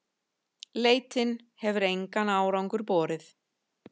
Leitin hefur engan árangur borið.